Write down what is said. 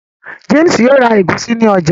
James yóò rá egusi ní ọjà.